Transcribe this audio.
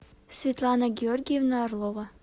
светлана георгиевна орлова